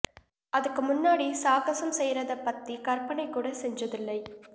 அதுக்கு முன்னாடி சாகசம் செய்யறதைப் பத்தி கற்பனை கூட செஞ்சதில்லை